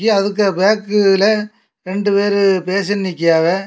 அதுக்கு பேக்குல ரெண்டு பேரு பேசி நிக்காங்க.